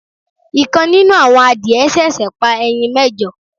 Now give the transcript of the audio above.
ikán nínù awọ́n àdiẹ sẹ̀sẹ̀ pa ẹyin méjọ